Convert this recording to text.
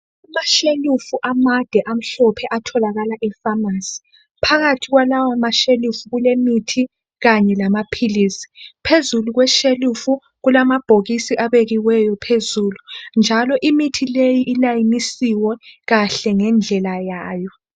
Amashelufu amade amhlophe atholakala efamasi. Phakathi kwalawo mashelufu kulemithi kanye lamaphilisi. Phezulu kweshelufu kulamabhokisi abekiweyo phezulu, njalo imithi leyi ilayinisiwe kahle ngendlela yayo.